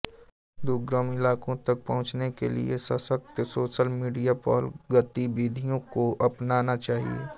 दुर्गम इलाकों तक पहुंचने के लिए सशक्त सोशल मीडिया पहलगतिविधियों को अपनाना चाहिए